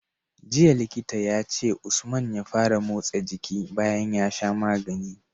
Jiya Likita yace usman ya fara motsa jiki bayan ya sha magani